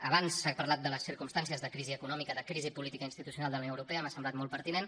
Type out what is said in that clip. abans s’ha parlat de les circumstàncies de crisi econòmica de crisi política i institucional de la unió europea m’ha semblat molt pertinent